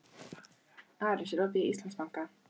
Aris, er opið í Íslandsbanka?